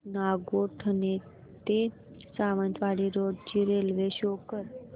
नागोठणे ते सावंतवाडी रोड ची railway show कर